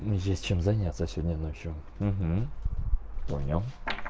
есть чем заняться сегодня ночью понял